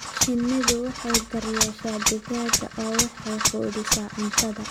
Shinnidu waxay daryeeshaa digaagga oo waxay quudisaa cunto.